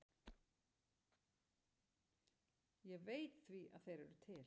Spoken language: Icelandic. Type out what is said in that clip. Ég veit því að þeir eru til.